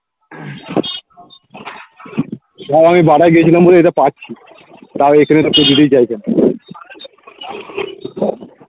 তাও আমি বাটা য় গেছিলাম বলে এটা পাচ্ছি তাও এইখানে এটা কেউ দিতেই চাইছে না